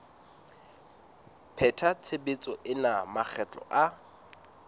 pheta tshebetso ena makgetlo a